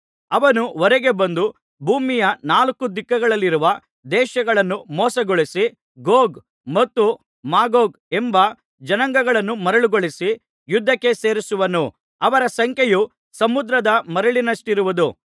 ಅವನು ಹೊರಗೆ ಬಂದು ಭೂಮಿಯ ನಾಲ್ಕು ದಿಕ್ಕುಗಳಲ್ಲಿರುವ ದೇಶಗಳನ್ನು ಮೋಸಗೊಳಿಸಿ ಗೋಗ್ ಮತ್ತು ಮಾಗೋಗ್ ಎಂಬ ಜನಾಂಗಗಳನ್ನು ಮರುಳುಗೊಳಿಸಿ ಯುದ್ಧಕ್ಕೆ ಸೇರಿಸುವನು ಅವರ ಸಂಖ್ಯೆಯು ಸಮುದ್ರದ ಮರಳಿನಷ್ಟಿರುವುದು